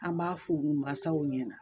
An b'a f'u masaw ɲɛna